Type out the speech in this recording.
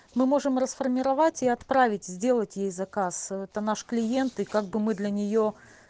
мы можем расформировать и отправить сделать ей заказ это наш клиент и как бы мы для нее